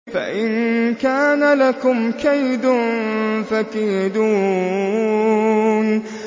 فَإِن كَانَ لَكُمْ كَيْدٌ فَكِيدُونِ